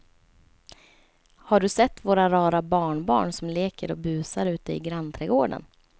Har du sett våra rara barnbarn som leker och busar ute i grannträdgården!